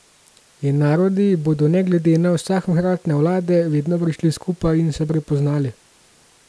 In narodi bodo ne glede na vsakokratne vlade vedno prišli skupaj in se prepoznali.